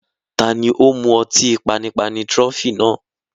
Taani ó mú ọtí panipani "Trophy" náà